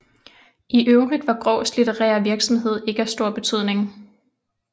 I øvrigt var Graahs litterære virksomhed ikke af stor betydning